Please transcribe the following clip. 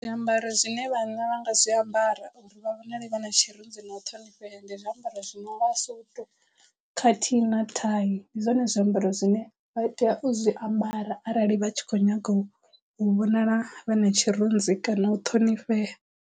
Zwiambaro zwine vhanna vha nga zwiambara uri vha vhonale vha na tshirunzi na u ṱhonifhea ndi zwiambaro zwino nga suthu khathihi na thai ndi zwone zwiambaro zwine vha tea u zwiambara arali vha tshi khou nyagou u vhonala vha na tshirunzi kana u ṱhonifhea.